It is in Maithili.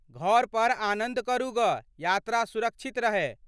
घर पर आनंद करू ग यात्रा सुरक्षित रहे ।